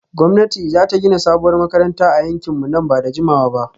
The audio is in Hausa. Gwamnati za ta gina sabuwar makarantar a yankinmu nan ba da jimawa ba